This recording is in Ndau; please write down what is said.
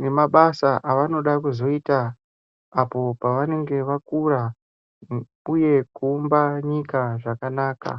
nemabasa avanoda kuzoita apo pavanenge vakura uye kuumba nyika zvakanaka